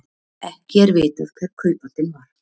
Ekki er vitað hver kaupandinn var